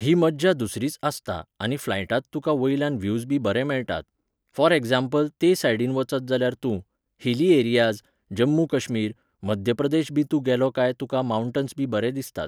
ही मज्जा दुसरीच आसता आनी फ्लायटांत तुका वयल्यान व्ह्यूजबी बरे मेळटात. फॉर एग्जाम्पल, ते सायडीन वचत जाल्यार तूं, हिली एरियाज, जम्मू कश्मीर, मध्य प्रदेशबी तूं गेलो काय तुका मांवटन्सबी बरे दिसतात.